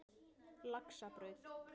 Laxabraut